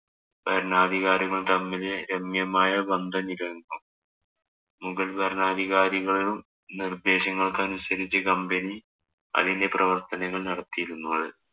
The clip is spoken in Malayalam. ഭരണാധികാരികള്‍ തമ്മില്‍ രമ്യമായ മുഗള്‍ ഭരണാധികാരികളുടെ നിര്‍ദ്ദേശങ്ങള്‍ അനുസരിച്ച് company അതിന്‍റെ പ്രവര്‍ത്തനങ്ങള്‍ നടത്തിയിരുന്നത്.